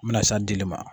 N bɛna s'a dili ma